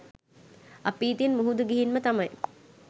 අපි ඉතින් මුහුදු ගිහින්ම තමයි